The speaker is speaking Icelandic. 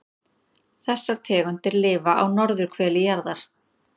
Þessar tegundir lifa á norðurhveli jarðar.